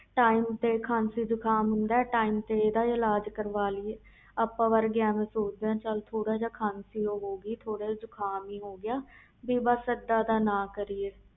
ਖ਼ਾਸੀ ਜੁਕਮ ਹੁੰਦਾ ਤੇ time ਨਾਲ ਇਲਾਜ਼ ਕਰ ਵਾਲੀਏ ਆਪਾ ਵਰਗੇ ਸੋਚ ਦੇ ਆ ਚਲ ਥੋੜ੍ਹਾ ਜਾ ਖਾਸੀ ਜੁਕਮ ਆ